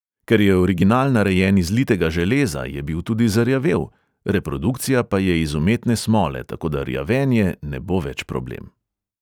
Ker je original narejen iz litega železa, je bil tudi zarjavel, reprodukcija pa je iz umetne smole, tako da rjavenje ne bo več problem.